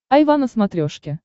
айва на смотрешке